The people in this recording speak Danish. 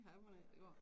Ja mon æ det går